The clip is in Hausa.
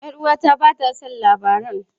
Yar uwata ba ta son labaran.